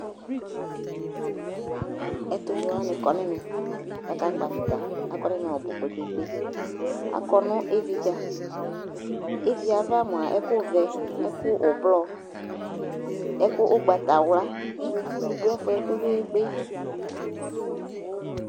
ɛtu vɛ wʋani kɔ n'ɛmɛ ka ka kpɔ avita akɔ n'ɛmɛ ɔbu kpekpekpe akɔ nu ifidza iviava mʋa ɛku vɛ, ɛku ɔblɔɔ, ɛku ugbata wla, itsu ni du ɛfuɛ kpekpekpe